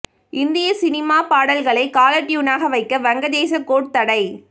இந்திய சினிமாப் பாடல்களை காலர் டியூனாக வைக்க வங்கதேச கோர்ட் தடை